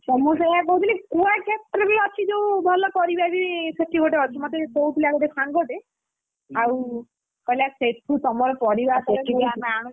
ତ ମୁଁ ସେୟା କହୁଥିଲି କୁଆଖିଆ ପାଖରେ ବି ଅଛି ଯୋଉ ଭଲ ପରିବା ବି ସେଠି ଗୋଟେ ଅଛି ମତେ କହୁଥିଲା ଗୋଟେ ସାଙ୍ଗଟେ ଆଉ କହିଲା ସେଠୁ ତମର ପରିବା ପତର ଆମେ ଆଣୁଛୁ।